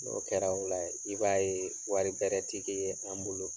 N'o kɛra ola, i b'a ye wari bɛrɛ ti k'i yɛrɛ, an bolo.